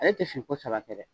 Ale tɛ siri ko saba kɛ dɛ.